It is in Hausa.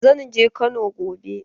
Zan je Makka gobe.